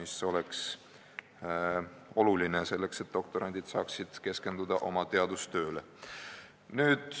See on oluline, selleks et doktorandid saaksid keskenduda teadustööle.